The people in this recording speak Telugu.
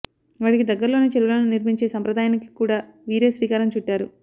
వాటికి దగ్గర్లోనే చెరువులను నిర్మించే సంప్రదాయానికి కూడా వీరే శ్రీకారం చుట్టారు